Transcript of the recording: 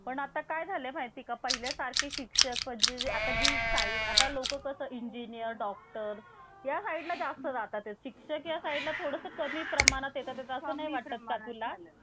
पण आता काय झालं आहे पिका पहिल्या सारखे शिक्षक म्हणजे आता जी साइट आता लोकं कसं इंजीनिअर र या साइड ला जास्त राहतात. शिक्षक या साइड ला थोडं कमी प्रमाणात येतात असं नाही वाटत का तुला